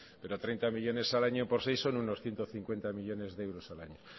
pero treinta millónes al año por seis son unos ciento cincuenta millónes de euros al año